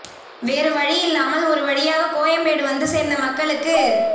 வேறு வழி இல்லாமல் ஒரு வழியாக கோயம்பேடு வந்து சேர்ந்த மக்களுக்கு